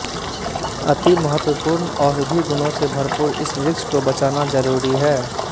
अति महत्वपूर्ण औषधि गुणों से भरपूर इस वृक्ष को बचाना जरूरी है